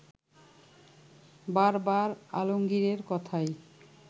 বারবার আলমগীরের কথাই